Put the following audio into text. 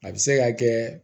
A bɛ se ka kɛ